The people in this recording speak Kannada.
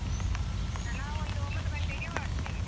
ನಾವೊಂದು ಒಂಬತ್ತು ಗಂಟೆಗೆ ಹೊರಡ್ತೇವೆ.